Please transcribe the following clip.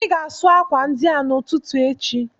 Ị ga-asụ akwa ndị a n'ụtụtụ echi!